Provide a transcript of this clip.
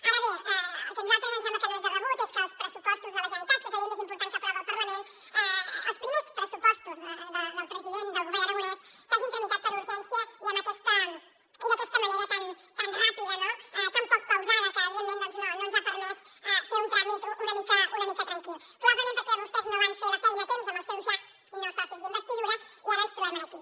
ara bé el que a nosaltres ens sembla que no és de rebut és que els pressupostos de la generalitat que és la llei més important que aprova el parlament que els primers pressupostos del president del govern aragonès s’hagin tramitat per urgència i d’aquesta manera tan ràpida no tan poc pausada que evidentment no ens ha permès fer un tràmit una mica tranquil probablement perquè vostès no van fer la feina a temps amb els seus ja no socis d’investidura i ara ens trobem aquí